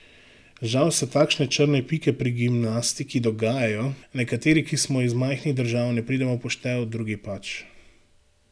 Žal se takšne črne pike pri gimnastiki dogajajo, nekateri, ki smo iz majhnih držav, ne pridemo v poštev, drugi pač.